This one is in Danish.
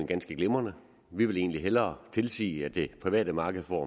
ganske glimrende vi vil egentlig hellere tilsige at det private marked får